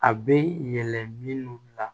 A bɛ yɛlɛ minnu la